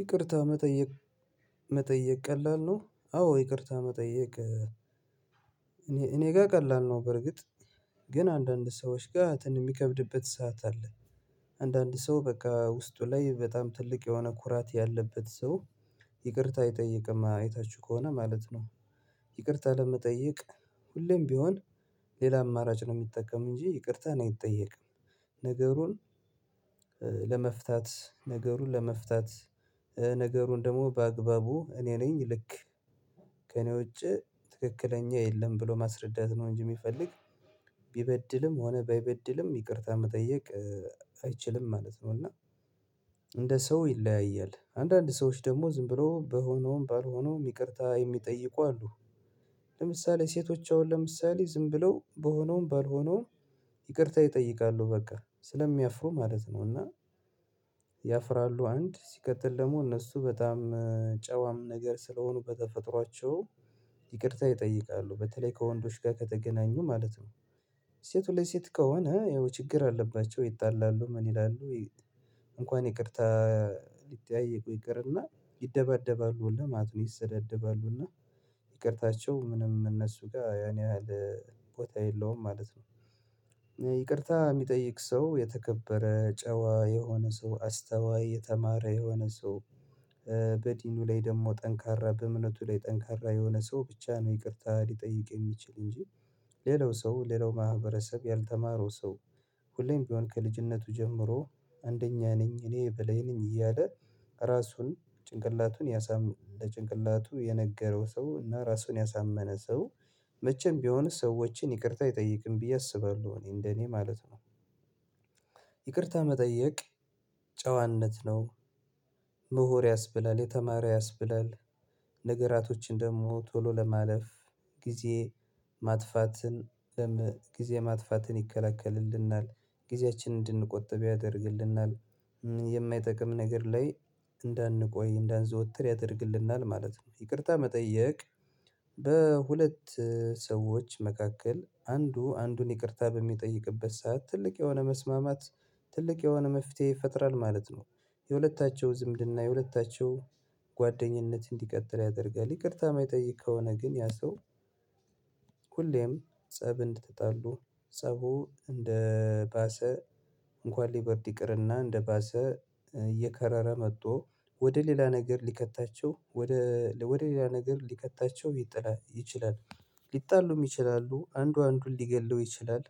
ይቅርታ መጠየቅ መጠየቅ ቀላል ነው? አዎ ይቅርታ መጠየቅ እኔ ጋር ቀላል ነው፣ በርግጥ ግን አንዳንድ ሰዎች ጋር የሚከብድበት ሰዓት አለ። አንዳንድ ሰው በቃ ውስጡ ላይ በጣም ትልቅ የሆነ ኩራት ያለበት ሰው ይቅርታ አይጠይቅም አይታችሁ ከሆነ ማለት ነው። ይቅርታ ለመጠየቅ ሁሌም ቢሆን ሌላ አማራጭ ነው የሚጠቀም እንጂ ይቅርታ አይጠይቅም። ነገሩን ለመፍታት ነገሩን ለመፍታት ነገሩን ደግሞ በአግባቡ እኔ ነኝ ልክ ከእኔ ውጪ ትክክለኛ የለም ብሎ ማስረዳት ነው እንጂ የሚፈልግ ቢበድልም ሆነ ባይበድልም ይቅርታ መጠየቅ አይችልም ማለት ነው። እና እንደ ሰው ይለያያል። አንዳንድ ሰዎች ደግሞ ዝም ብሎ በሆነውም ባልሆነውም ይቅርታ የሚጠይቁ አሉ። ለምሳሌ ሴቶች አሁን ለምሳሌ ዝም ብለው በሆነውም ባልሆነውም ይቅርታ ይጠይቃሉ በቃ ስለሚያፍሩ ማለት ነው እና ያፍራሉ አንድ ሲቀጥል ደግሞ እነሱ በጣም ጨዋም ነገር ስለሆኑ በተፈጥሯቸው ይቅርታ ይጠይቃሉ በተለይ ከወንዶች ጋር ከተገናኙ ማለት ነው። ሴት ለ ሴት ከሆነ ያው ችግር አለባቸው ይጣላሉ ምን ይላሉ እንኳን ይቅርታ ሊጠያየቁ ይቅርና ይደባደባሉ ሁላ ማለት ነው ይሰዳደባሉና እና ይቅርታቸው ምንም እነሱ ጋር ያን ያህል ቦታ የለውም ማለት ነው። ይቅርታ የሚጠይቅ ሰው የተከበረ፣ ጨዋ የሆነ ሰው፣ አስተዋይ፣ የተማረ የሆነ ሰው በዲኑ ላይ ደግሞ ጠንካራ በእምነቱ ላይ ጠንካራ የሆነ ሰው ብቻ ነው ይቅርታ ሊጠይቅ የሚችል እንጂ ሌላው ሰው፣ ሌላው ማህበረሰብ፣ ያልተማረው ሰው፣ ሁሌም ቢሆን ከልጅነቱ ጀምሮ አንደኛ ነኝ፣ እኔ በላይ ነኝ እያለ ራሱን ጭንቅላቱን ያሳም ለጭንቅላቱ የነገረው ሰው እና ራሱን ያሳመነ ሰው መቼም ቢሆን ሰዎችን ይቅርታ አይጠይቅም ብዬ አስባለሁ እኔ እንደኔ ማለት ነው። ይቅርታ መጠየቅ ጨዋነት ነው። ያስብላል፣ የተማረ ያስብላል፣ ነገራቶችን ደግሞ ቶሎ ለማለፍ ጊዜ ማጥፋትን ጊዜ ማጥፋትን ይከላከልልናል፣ ጊዜያችንን እንድንቆጥብ ያደርግልናል፣ የማይጠቅም ነገር ላይ እንዳንቆይ እንዳንዘወትር ያደርግልናል ማለት ነው። ይቅርታ መጠየቅ በሁለት ሰዎች መካከል አንዱ አንዱን ይቅርታ በሚጠይቅበት ሰዓት ትልቅ የሆነ መስማማት ትልቅ የሆነ መፍትሄ ይፈጥራል ማለት ነው። የሁለታቸው ዝምድና፣ የሁለታቸው ጓደኝነት እንዲቀጥል ያደርጋል። ይቅርታ የሚጠይቅ ከሆነ ግን ያ ሰው ሁሌም ፀብ እንድትጣሉ ፀቡ እንደ ባሰ እንኳን ሊበርድ ይቅርና እንደባሰ እየከረረ መጥቶ ወደ ሌላ ነገር ሊከታቸው፣ ወደ ወደ ሌላ ነገር ሊከታቸው ይችላል፣ ሊጣሉም ይችላሉ አንዱ አንዱን ሊገድለው ይችላል፣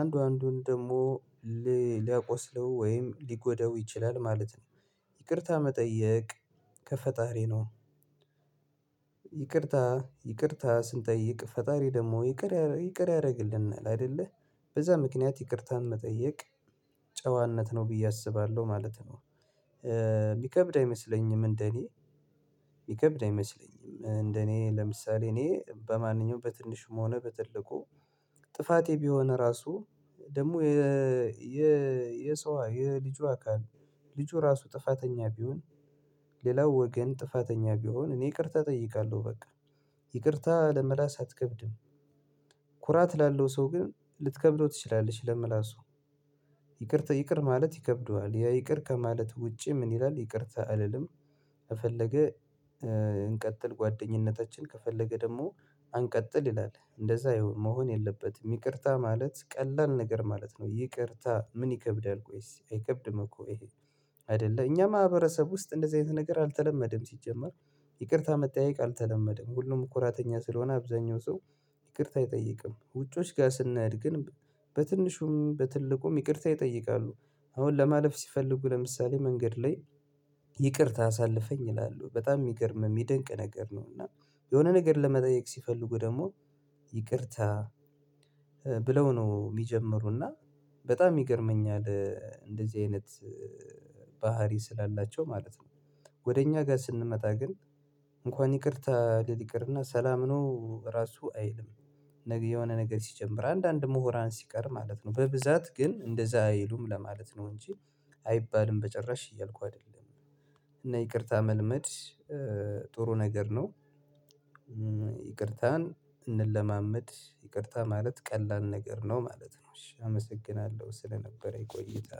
አንዱ አንዱን ደግሞ ሊያቆስለው ወይም ሊጎዳው ይችላል ማለት ነው። ይቅርታ መጠየቅ ከፈጣሪ ነው። ይቅርታ ይቅርታ ስንጠይቅ ፈጣሪ ደግሞ ይቅር ይቅር ያደርግልናል አይደለ በዛ ምክንያት ይቅርታን መጠየቅ ጨዋነት ነው ብዬ አስባለሁ ማለት ነው። የሚከብድ አይመስለኝም እንደኔ የሚከብድ አይመስለኝም እንደኔ ለምሳሌ እኔ በማንኛውም በትንሽም ሆነ በትልቁ ጥፋቴ ቢሆን ራሱ ደግሞ የ የ የሰው የልጁ አካል ልጁ ራሱ ጥፋተኛ ቢሆን ሌላው ወገን ጥፋተኛ ቢሆን እኔ ይቅርታ እጠይቃለሁ በቃ። ይቅርታ ለምላስ አትከብድም። ኩራት ላለው ሰው ግን ልትከብለው ትችላለሽ ለመላሱ ይቅርታ ይቅር ማለት ይከብደዋል። ያ ይቅር ከማለት ውጪ ምን ይላል ይቅርታ አልልም። ከፈለገ እንቀጥል ጓደኝነታችን፣ ከፈለገ ደግሞ አንቀጥል ይላል እንደዛ መሆን የለበትም። ይቅርታ ማለት ቀላል ነገር ማለት ነው። ይቅርታ ምን ይከብዳል ቆይስ አይከብድም እኮ ይሄ አይደለ እኛ ማህበረሰብ ውስጥ እንደዚህ አይነት ነገር አልተለመደም ሲጀመር ይቅርታ መጠያየቅ አልተለመደም። ሁሉም ኩራተኛ ስለሆነ አብዛኛው ሰው ይቅርታ አይጠይቅም። ውጪዎች ጋር ስናድግን በትንሹም በትልቁም ይቅርታ ይጠይቃሉ። አሁን ለማለፍ ሲፈልጉ ለምሳሌ መንገድ ላይ ይቅርታ አሳልፈኝ እላለሁ በጣም የሚገርም የሚደንቅ ነገር ነው። እና የሆነ ነገር ለመጠየቅ ሲፈልጉ ደግሞ ይቅርታ ብለው ነው የሚጀምሩና በጣም ይገርመኛል እንደዚህ አይነት ባህሪ ስላላቸው ማለት ነው። ወደ እኛ ጋር ስንመጣ ግን እንኳን ይቅርታ ልል ይቅርና ሰላም ነው ራሱ አይልም። የሆነ ነገር ሲጀምር አንዳንድ ምሁራን ሲቀር ማለት ነው። በብዛት ግን እንደዛ አይሉም ለማለት ነው እንጂ አይባልም በጭራሽ እያልኩ አይደለም እና ይቅርታ መልመድ ነገር ነው። ይቅርታን እንለማመድ ይቅርታ ማለት ቀላል ነገር ነው ማለት ነው እሺ አመሰግናለሁ ስለነበረኝ ቆይታ።